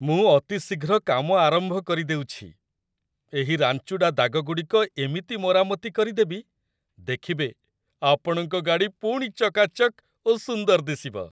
ମୁଁ ଅତିଶୀଘ୍ର କାମ ଆରମ୍ଭ କରିଦେଉଛି, ଏହି ରାଞ୍ଚୁଡ଼ା ଦାଗଗୁଡ଼ିକ ଏମିତି ମରାମତି କରିଦେବି, ଦେଖିବେ, ଆପଣଙ୍କ ଗାଡ଼ି ପୁଣି ଚକାଚକ୍ ଓ ସୁନ୍ଦର ଦିଶିବ!